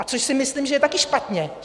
A což si myslím, že je také špatně.